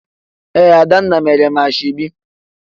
Ee, Adanna mere m ashebi